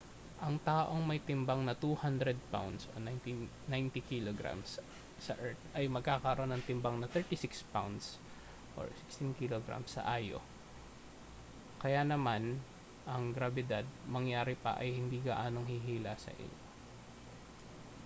ang taong may timbang na 200 pounds 90kg sa earth ay magkakaroon ng timbang na 36 pounds 16kg sa io. kaya naman ang grabidad mangyari pa ay hindi gaanong hihila sa iyo